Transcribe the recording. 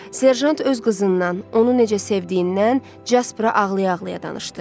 Serjant öz qızından, onu necə sevdiyindən Jaspıra ağlaya-ağlaya danışdı.